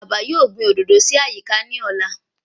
Bàbá yóò gbìn òdòdó sí àyíká ní ọ̀la